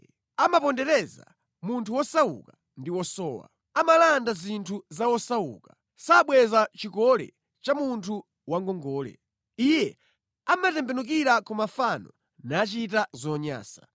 Iye amapondereza munthu wosauka ndi wosowa. Amalanda zinthu za osauka. Sabweza chikole cha munthu wa ngongole. Iye amatembenukira ku mafano nachita zonyansa.